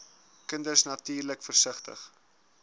kinders natuurlik versigtig